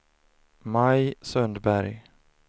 Maj Sundberg